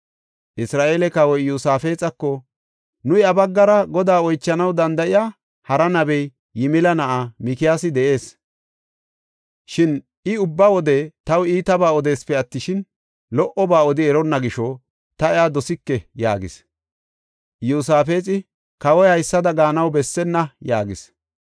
Isra7eele kawoy Iyosaafexako, “Nu iya baggara Godaa oychanaw danda7iya hara nabey Yimila na7ay Mikiyaasi de7ees. Shin I ubba wode taw iitabaa odeesipe attishin, lo77oba odi eronna gisho ta iya dosike” yaagis. Iyosaafexi, “Kawoy haysada gaanaw bessenna” yaagis.